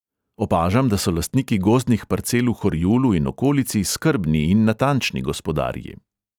Opažam, da so lastniki gozdnih parcel v horjulu in okolici skrbni in natančni gospodarji.